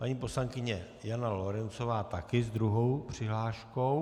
Paní poslankyně Jana Lorencová taky s druhou přihláškou.